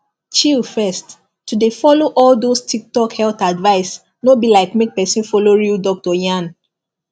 chill first to dey follow all those tiktok health advice no be like make person follow real doctor yarn